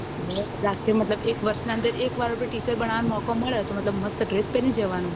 મતલબ એક વર્ષ ના અંદર એકવાર teacher બનવા મોકો મળ્યો તો મતલબ મસ્ત dress પેરી જવાનું